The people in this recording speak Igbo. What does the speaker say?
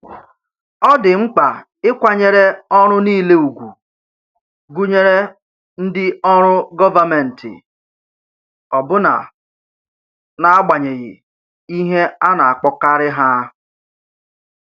Ọ dị mkpa ịkwanyere ọrụ niile ùgwù, gụnyere ndị ọrụ gọvanmentị, ọbụna n’agbanyeghị ihe a na-akpọkarị ha.